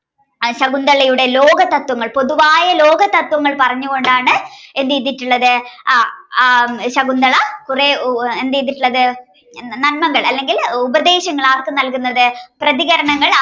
ശകുന്തളയുടെ ലോകതത്ത്വങ്ങൾ പൊതുവായ ലോകതത്ത്വങ്ങൾ പറഞ്ഞുകൊണ്ടാണ് എന്തെയ്തിട്ടുള്ളത് ആഹ് ശകുന്തള ആഹ് എന്തെയ്തിട്ടുള്ളത് നന്മകൾ അല്ലെങ്കിൽ ഉപദേശങ്ങൾ ആർക്ക് നൽകുന്നത് പ്രതികരണങ്ങൾ ആർക്ക്